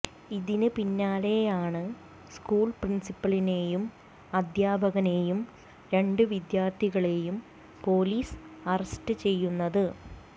ഇതിന് പിന്നാലെയാണ് സ്കൂള് പ്രിന്സിപ്പലിനേയും അധ്യാപകനേയും രണ്ട് വിദ്യാര്ത്ഥികളേയും പൊലീസ് അറസ്റ്റ് ചെയ്യുന്നത്